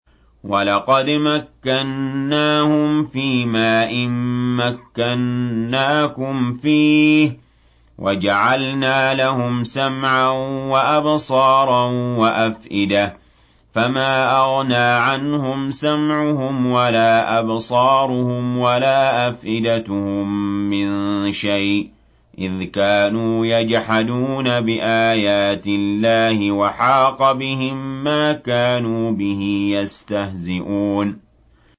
وَلَقَدْ مَكَّنَّاهُمْ فِيمَا إِن مَّكَّنَّاكُمْ فِيهِ وَجَعَلْنَا لَهُمْ سَمْعًا وَأَبْصَارًا وَأَفْئِدَةً فَمَا أَغْنَىٰ عَنْهُمْ سَمْعُهُمْ وَلَا أَبْصَارُهُمْ وَلَا أَفْئِدَتُهُم مِّن شَيْءٍ إِذْ كَانُوا يَجْحَدُونَ بِآيَاتِ اللَّهِ وَحَاقَ بِهِم مَّا كَانُوا بِهِ يَسْتَهْزِئُونَ